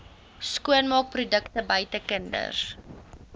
skoonmaakprodukte buite kinders